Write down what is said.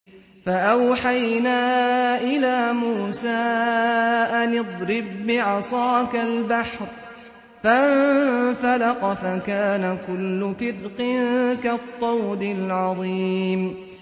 فَأَوْحَيْنَا إِلَىٰ مُوسَىٰ أَنِ اضْرِب بِّعَصَاكَ الْبَحْرَ ۖ فَانفَلَقَ فَكَانَ كُلُّ فِرْقٍ كَالطَّوْدِ الْعَظِيمِ